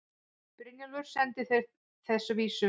Brynjólfur sendi þeim þessa vísu